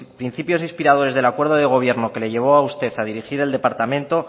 principios de inspiradores del acuerdo de gobierno que le llevó a usted a dirigir el departamento